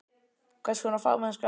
Hvers konar fagmennska er það?